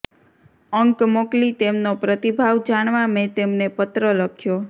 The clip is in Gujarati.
અંક મોકલી તેમનો પ્રતિભાવ જાણવા મેં તેમને પત્ર લખ્યો